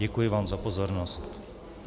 Děkuji vám za pozornost.